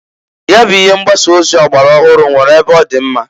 Nya bụ ihe mgbasa ozi ọgbara ọhụrụ nwere ebe ọdị mma.